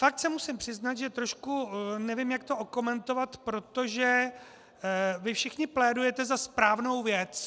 Fakt se musím přiznat, že trošku nevím, jak to okomentovat, protože vy všichni plédujete za správnou věc.